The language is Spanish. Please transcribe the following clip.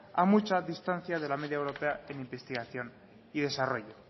a mucha distancia de la media europea en investigación y desarrollo